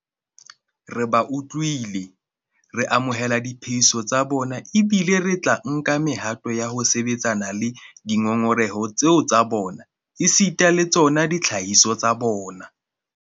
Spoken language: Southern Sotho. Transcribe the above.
Re ba utlwile, re amohela diphehiso tsa bona ebile re tla nka mehato ya ho sebetsana le dingongoreho tseo tsa bona esita le tsona ditlhahiso tsa bona.